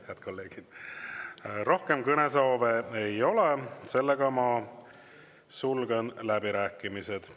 Head kolleegid, rohkem kõnesoove ei ole, sulgen läbirääkimised.